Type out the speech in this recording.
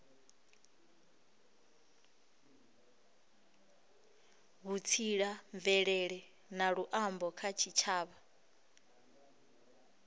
vhutsila mvelele na luambo kha tshitshavha